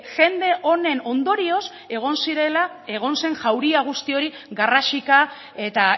jende honen ondorioz egon zirela egon zen jauria guzti hori garrasika eta